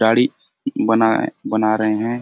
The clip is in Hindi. दाढ़ी बनाए बना रहे है।